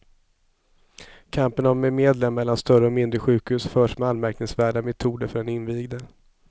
Kampen om medlen mellan större och mindre sjukhus förs med anmärkningsvärda metoder för den invigde.